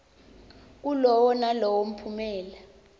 kulowo nalowo mphumela